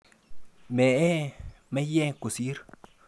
Mee meyek kosir.